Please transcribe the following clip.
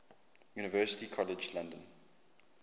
university college london